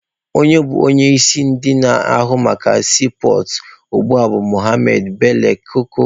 Onye bụ onye isi ndị na-ahụ maka siipọọtụ ugbua bụ Mohammed Bello Koko.